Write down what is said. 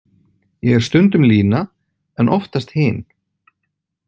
Ég er stundum Lína en oftast hin.